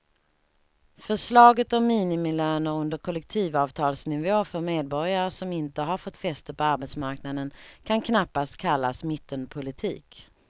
Förslaget om minimilöner under kollektivavtalsnivå för medborgare som inte har fått fäste på arbetsmarknaden kan knappast kallas mittenpolitik.